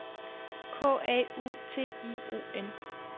K A U T I O N